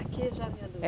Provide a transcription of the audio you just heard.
Aqui é jovem e adulto? É